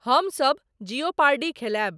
हम सब जियोपार्डी खेलाएब